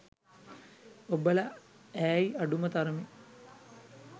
ඔබලා ඈයි අඩුම තරමේ